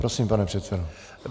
Prosím, pane předsedo.